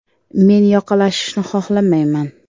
“Men yoqalashishni xohlamayman.